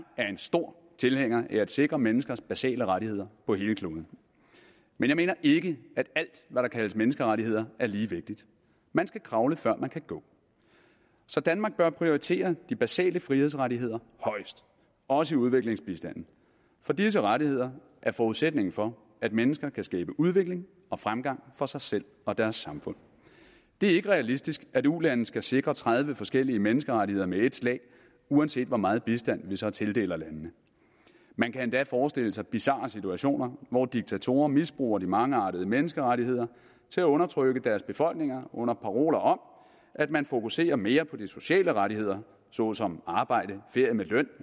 er en stor tilhænger af at sikre menneskers basale rettigheder på hele kloden men jeg mener ikke at alt hvad der kaldes menneskerettigheder er lige vigtigt man skal kravle før man kan gå så danmark bør prioritere de basale frihedsrettigheder højest også i udviklingsbistanden for disse rettigheder er forudsætningen for at mennesker kan skabe udvikling og fremgang for sig selv og deres samfund det er ikke realistisk at ulande skal sikre tredive forskellige menneskerettigheder med ét slag uanset hvor meget bistand vi så tildeler landene man kan endda forestille sig bizarre situationer hvor diktatorer misbruger de mangeartede menneskerettigheder til at undertrykke deres befolkninger under paroler om at man fokuserer mere på de sociale rettigheder såsom arbejde ferie med løn